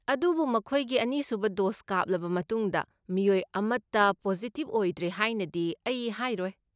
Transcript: ꯑꯗꯨꯕꯨ ꯃꯈꯣꯏꯒꯤ ꯑꯅꯤꯁꯨꯕ ꯗꯣꯁ ꯀꯥꯞꯂꯕ ꯃꯇꯨꯡꯗ ꯃꯤꯑꯣꯏ ꯑꯃꯠꯇ ꯄꯣꯖꯤꯇꯤꯕ ꯑꯣꯏꯗ꯭ꯔꯦ ꯍꯥꯏꯅꯗꯤ ꯑꯩ ꯍꯥꯏꯔꯣꯏ꯫